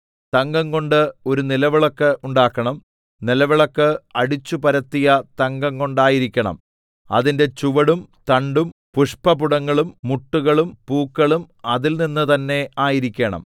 തങ്കംകൊണ്ട് ഒരു നിലവിളക്ക് ഉണ്ടാക്കണം നിലവിളക്ക് അടിച്ചുപരത്തിയ തങ്കം കൊണ്ടായിരിക്കണം അതിന്റെ ചുവടും തണ്ടും പുഷ്പപുടങ്ങളും മുട്ടുകളും പൂക്കളും അതിൽനിന്ന് തന്നെ ആയിരിക്കണം